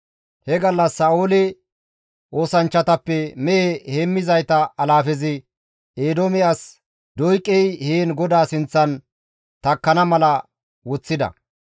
He gallas Sa7oole oosanchchatappe mehe heemmizayta alaafezi Eedoome as Doyqey heen GODAA sinththan takkana mala woththida.